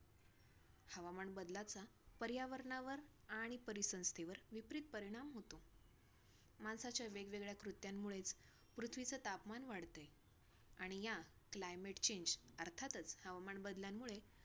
हवामान बदलाचा पर्यावरणावर आणि परीसंस्थेवर विपरीत परिणाम होतो. माणसाच्या वेग वेगळ्या कृत्यांमुळेच पृथ्वीचं तापमान वाढते आणि या climate change अर्थातच हवामान बदलामुळे.